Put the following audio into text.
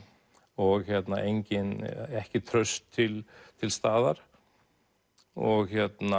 og ekkert traust til til staðar og